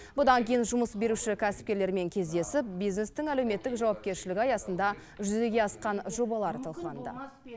бұдан кейін жұмыс беруші кәсіпкерлермен кездесіп бизнестің әлеуметтік жауапкершілігі аясында жүзеге асқан жобалар талқыланды